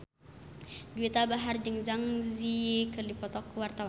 Juwita Bahar jeung Zang Zi Yi keur dipoto ku wartawan